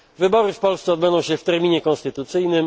Wybory w Polsce odbędą się w terminie konstytucyjnym.